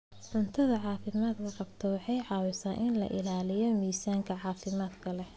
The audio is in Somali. Cunto caafimaad qabta waxay caawisaa in la ilaaliyo miisaan caafimaad leh.